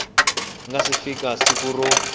nga si fika siku ro